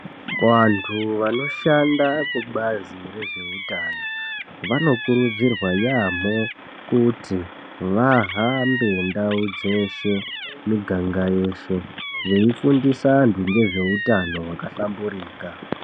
Vantu vanoshanda kubazi rezveutano vanokurudzirwa yamho kuti vahambe ndau dzeshe miganga yeshe, veifundisa antu ngezveutano hwakahlamburika.